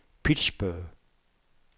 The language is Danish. Pittsburgh